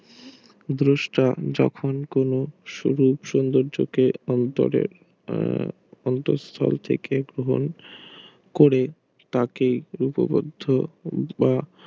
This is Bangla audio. দৃষ্টান যখন কোনো সুযোগ সুবিধা অন্তরে উম করে তাকে লিপিবদ্ধ